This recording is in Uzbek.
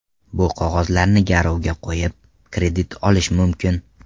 Bu qog‘ozlarni garovga qo‘yib, kredit olish mumkin.